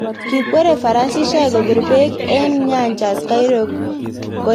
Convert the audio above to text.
Kikweri farasishek kopir peek eng nyanjas Cairo koepan asista nekilale mm�ah